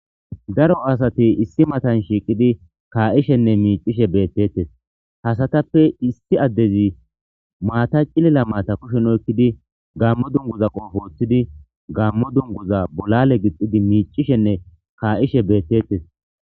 Daro asati issi matan shiiqidi kaa'ishene miicishe beetetes ha asatape issi adezi maata cilila maata kushen oykidi gaamo dunguza qoophe wothidi gaamo dunguza bolale gididi miicishine kaa'ishe beetetes.